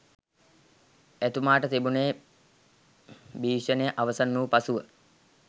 එතුමාට තිබුණේ භීෂණය අවසන්වූ පසුව